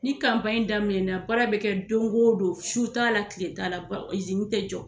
Ni daminɛ na, baara bɛ kɛ don o don , su t'a la tile t'a la, bɔn izini tɛ jɔ.